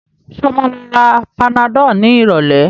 Sọ ma lọ ra panadol ní ìrọ̀lẹ́?